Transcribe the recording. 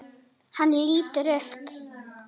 Hann lítur upp.